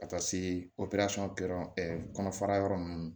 Ka taa se kɔnɔfara yɔrɔ nunnu ma